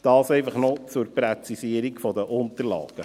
Dies einfach zur Präzisierung der Unterlagen.